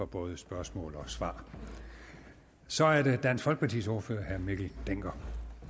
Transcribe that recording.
både spørgsmål og svar så er det dansk folkepartis ordfører herre mikkel dencker